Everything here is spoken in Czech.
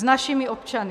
S našimi občany